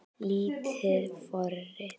Lítil forrit